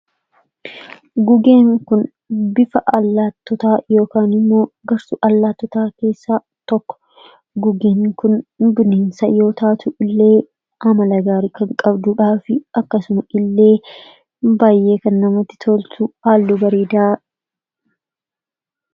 Gugeen kun bifa allaattotaa yookin immoo gosa allaatotaa keessa tokko gugeen kun bineensa yoo taatu illee amala gaarii kan qabduudhaafi akkasuma illee baay'ee kannamatti toltu halluu bareeda qabdi.